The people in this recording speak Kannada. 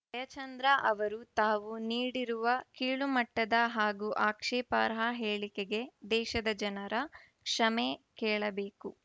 ಜಯಚಂದ್ರ ಅವರು ತಾವು ನೀಡಿರುವ ಕೀಳುಮಟ್ಟದ ಹಾಗೂ ಆಕ್ಷೇಪಾರ್ಹ ಹೇಳಿಕೆಗೆ ದೇಶದ ಜನರ ಕ್ಷಮೆ ಕೇಳಬೇಕು